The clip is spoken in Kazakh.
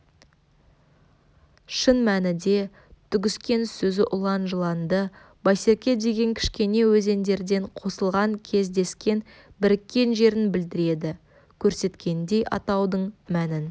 шын мәніде түгіскен сөзі ұлан жыланды байсерке деген кішкене өзендерден қосылған кездескен біріккен жерін білдіреді көрсеткендей атаудың мәнін